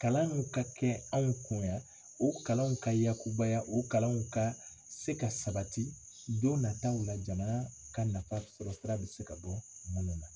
Kalanw ka kɛ anw kun yan o kalanw ka yakubaya o kalanw ka se ka sabati don nataaw la jamana ka nafa bi sɔrɔ sira bɛ se ka bɔ mun na.